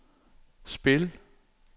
spil